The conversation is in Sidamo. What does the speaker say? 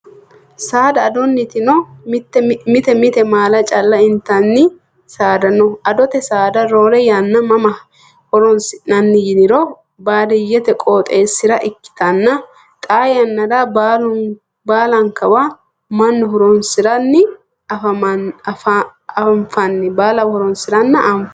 Saada adoniti no mite mite maala calla intanni saada no adote saada roore yanna mama horonsi'nanni yiniro baadiyyete qooxeesira ikkittanna xa yannara baallankawa mannu horonsiranna anfanni.